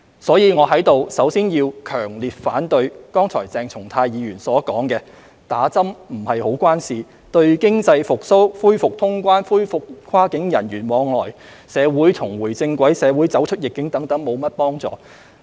因此，我在此首先要強烈反對剛才鄭松泰議員所說："打針不是太有關係，對經濟復蘇、恢復通關、恢復跨境人員往來、社會重回正軌、社會走出逆境等沒甚麼幫助。